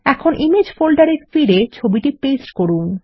এখন ইমেজ ফোল্ডারে ফিরে ছবিটি পেস্ট করুন